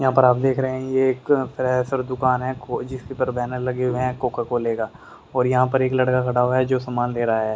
यहां पर आप देख रहे हैं ये एक फ्रेशर दुकान है खो जिसके पर बैनर लगे हुए हैं कोका कोले का और यहां पर एक लड़का खड़ा हुआ है जो सामान दे रहा है।